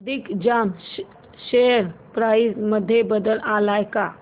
Digjam share price मध्ये बदल आलाय का